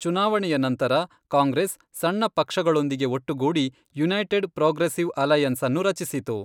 ಚುನಾವಣೆಯ ನಂತರ, ಕಾಂಗ್ರೆಸ್ ಸಣ್ಣ ಪಕ್ಷಗಳೊಂದಿಗೆ ಒಟ್ಟುಗೂಡಿ ಯುನೈಟೆಡ್ ಪ್ರೋಗ್ರೆಸ್ಸಿವ್ ಅಲೈಯನ್ಸ್ಅನ್ನು ರಚಿಸಿತು.